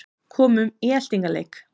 Komum í eltingaleik